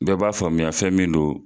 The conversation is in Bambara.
Bɛɛ b'a faamuya fɛn min do